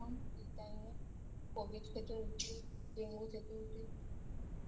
এই Time এ Covid থেকে উঠে ডেঙ্গু থেকে উঠে